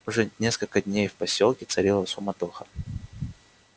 уже несколько дней в посёлке царила суматоха